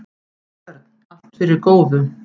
Björn: Allt fyrir góðu.